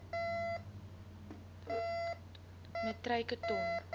metrieke ton